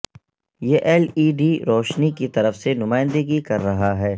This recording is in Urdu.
یہ ایل ای ڈی روشنی کی طرف سے نمائندگی کر رہا ہے